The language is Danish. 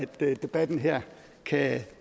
debatten her kan